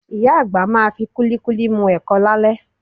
Ìyá àgbà máa fi kúlíkúlí mu ẹ̀kọ lálẹ́